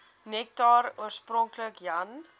nektar oorspronklik jan